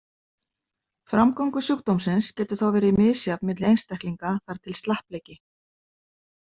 Framgangur sjúkdómsins getur þá verið misjafn milli einstaklinga þar til slappleiki.